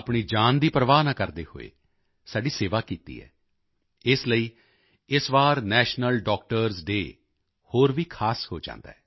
ਆਪਣੀ ਜਾਨ ਦੀ ਪ੍ਰਵਾਹ ਨਾ ਕਰਦੇ ਹੋਏ ਸਾਡੀ ਸੇਵਾ ਕੀਤੀ ਹੈ ਇਸ ਲਈ ਇਸ ਵਾਰੀ ਨੈਸ਼ਨਲ ਡਾਕਟਰਜ਼ ਡੇਅ ਹੋਰ ਵੀ ਖਾਸ ਹੋ ਜਾਂਦਾ ਹੈ